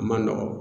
A ma nɔgɔn